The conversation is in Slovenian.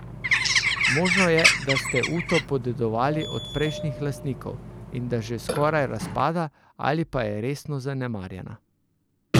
Možno je, da ste uto podedovali od prejšnjih lastnikov, in da že skoraj razpada ali pa je resno zanemarjena.